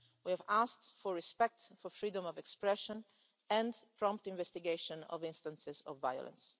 We have asked for respect for freedom of expression and prompt investigation of instances of violence.